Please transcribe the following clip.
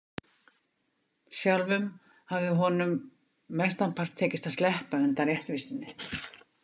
Sjálfum hafði honum mestanpart tekist að sleppa undan réttvísinni.